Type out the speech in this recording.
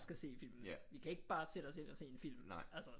Skal se filmen vi kan ikke bare sætte os ind og se en film altså